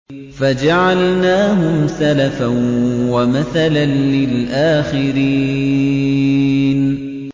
فَجَعَلْنَاهُمْ سَلَفًا وَمَثَلًا لِّلْآخِرِينَ